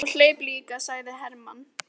Já, og hleyp líka, sagði Hermann.